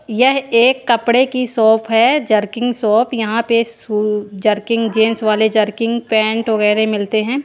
यह एक कपड़े की शॉप है जर्किंग शॉप यहां पे शू जर्किंग जिंस वाले जर्किंग पेंट वगैरह मिलते हैं।